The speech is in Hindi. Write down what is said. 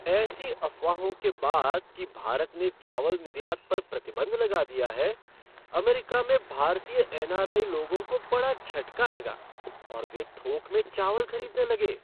ऐसी अफवाहों के बाद कि भारत ने चावल निर्यात पर प्रतिबंध लगा दिया है, अमेरिका में भारतीय एन.आर.आई. लोगों को बड़ा झटका लगा और वे थोक में चावल खरीदने लगे।